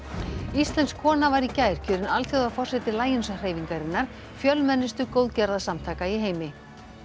íslensk kona var í gær kjörin Lions hreyfingarinnar fjölmennustu góðgerðasamtaka í heimi